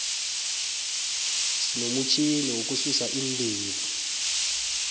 sinomutjhini wokususa iindevu